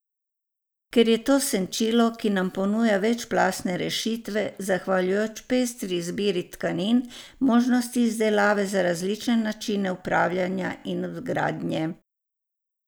Ker je to senčilo, ki nam ponuja večplastne rešitve, zahvaljujoč pestri izbiri tkanin, možnosti izdelave za različne načine upravljanja in vgradnje.